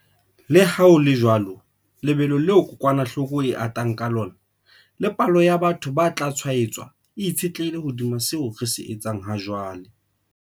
Leha ho le jwalo, lebelo leo kokwanahloko e atang ka lona le palo ya batho ba tla tshwaetswa e itshetlehile hodima seo re se etsang hajwale.